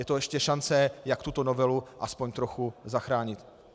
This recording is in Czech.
Je to ještě šance, jak tuto novelu aspoň trochu zachránit.